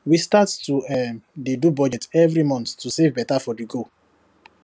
we start to um dey do budget every month to save better for the goal